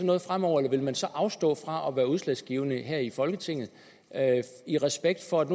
noget fremover eller vil man så afstå fra at være udslagsgivende her i folketinget i respekt for at